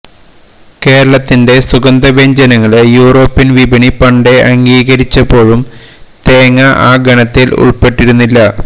കേരളത്തിന്റെ സുഗന്ധ വ്യഞ്ജനങ്ങളെ യൂറോപ്യന് വിപണി പണ്ടേ അംഗീകരിച്ചപ്പോഴും തേങ്ങാ ആ ഗണത്തില് ഉള്പ്പെട്ടിരുന്നില്ല